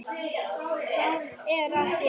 Hvað er að þér?